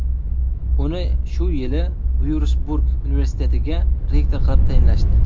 Uni shu yili Vyursburg universitetiga rektor qilib tayinlashdi.